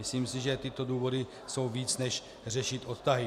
Myslím si, že tyto důvody jsou víc než řešit odtahy.